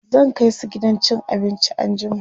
zan kaisu gidan cin abinci anjima